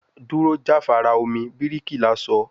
Duro jafara omi, birikila sọ